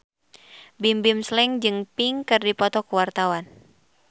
Bimbim Slank jeung Pink keur dipoto ku wartawan